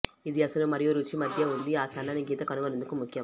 ఇది అసలు మరియు రుచి మధ్య ఉంది ఆ సన్నని గీత కనుగొనేందుకు ముఖ్యం